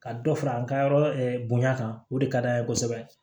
Ka dɔ fara an ka yɔrɔ kan o de ka d'an ye kosɛbɛ